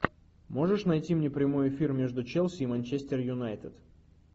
можешь найти мне прямой эфир между челси и манчестер юнайтед